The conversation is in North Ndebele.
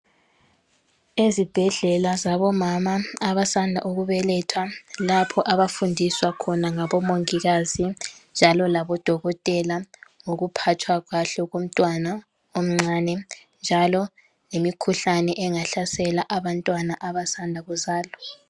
Ezibhedlela zabomama abasanda ukubeletha, lapho abafundiswa khona ngabo mongikazi njalo labodokotela ngokuphathwa kahle komntwana omncane njalo lemikhuhlane engahlasela abantwana abasanda kuzalwa.